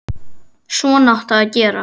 Svona áttu að gera.